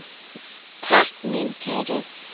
Takk mín kæru.